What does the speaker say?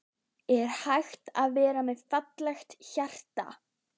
Er hægt að vera með fallegra hjarta?